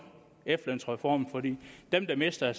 efterlønsreformen fordi dem der mister